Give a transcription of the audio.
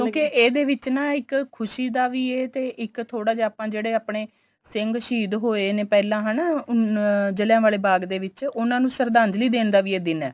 ਕਿਉਂਕਿ ਇਹਦੇ ਵਿੱਚ ਨਾ ਇੱਕ ਖੁਸ਼ੀ ਦਾ ਵੀ ਏ ਤੇ ਇੱਕ ਥੋੜਾ ਜਾ ਆਪਾਂ ਜਿਵੇਂ ਆਪਣੇ ਸਿੰਘ ਸਹੀਦ ਹੋਏ ਨੇ ਪਹਿਲਾਂ ਹਨਾ ਉਨ ਜਲ੍ਹਿਆਂਵਾਲੇ ਬਾਗ ਦੇ ਵਿੱਚ ਉਨ੍ਹਾਂ ਨੂੰ ਸ਼ਰਦਾਂਜਲੀ ਦੇਣ ਦਾ ਵੀ ਇਹ ਦਿਨ ਏ